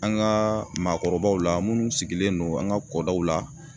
An ga maakɔrɔw la munnu sigilen don an ga kɔdaw la